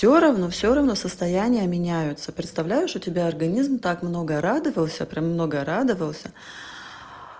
всё равно всё равно состояния меняются представляешь у тебя организм так много радовался прямо много радовался